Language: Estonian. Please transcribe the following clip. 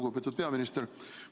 Lugupeetud peaminister!